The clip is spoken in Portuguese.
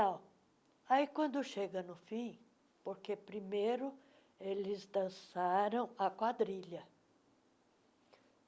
Aí, quando chega no fim, porque primeiro eles dançaram a quadrilha.